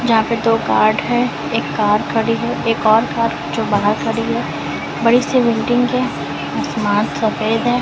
जहाँ पे दो गार्ड है एक कार खड़ी है एक और कार जो बाहर खड़ी है बड़ी सी बिल्डिंग है असमान सफेद है।